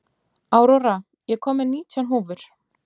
Aurora, ég kom með nítján húfur!